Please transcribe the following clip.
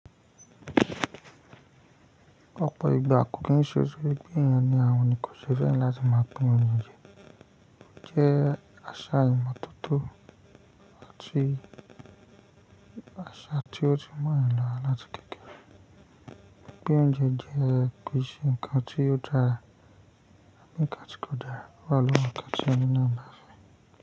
Ọ̀pọ̀ ìgbà kò kí n ṣe tórí pé eeyan ni àhun nì ko ṣe fẹ̀ran láti máa pín oúnjẹ jẹ́ àṣà ìmọ́tótó àti àṣà tí ó ti mọ́ on yan lárà láti kékeré. Pín oúnjẹ jẹ́ kii se ǹkan tí ó dára ǹkan tí kò dá wá lọ́wọ́ ǹkan tí ẹni náà bá fẹ́